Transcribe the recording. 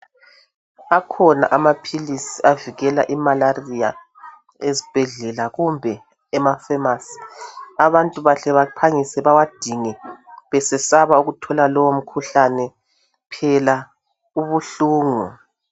Akhona amaphilisi avikela imalaria esibhedlela kumbe emafemasi abantu bahle baphangise bewadinge besesaba ukuthola lowo mkhuhlane phela ubuhlungu.